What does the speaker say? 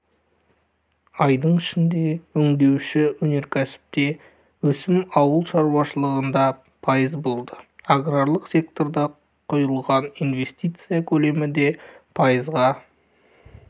айдың ішінде өңдеуші өнеркәсіпте өсім ауыл шаруашылығында пайыз болды аграрлық секторға құйылған инвестиция көлемі де пайызға